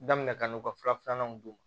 Daminɛna ka n'u ka fura filananw d'u ma